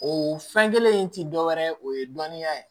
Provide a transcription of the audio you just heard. O fɛn kelen in ti dɔwɛrɛ ye o ye dɔnniya ye